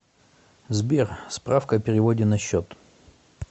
сбер справка о переводе на счет